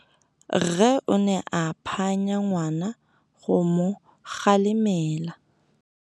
Rre o ne a phanya ngwana go mo galemela.